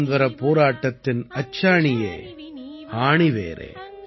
சுதந்திரப் போராட்டத்தின் அச்சாணியே ஆணிவேரே